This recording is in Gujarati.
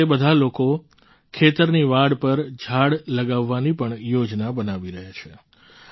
હવે તે બધા લોકો ખેતરની વાડ પર ઝાડ લગાવવાની પણ યોજના બનાવી રહ્યા છે